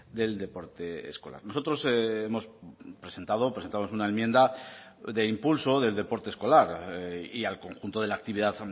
del deporte escolar nosotros hemos presentado presentamos una enmienda de impulso del deporte escolar y al conjunto de la actividad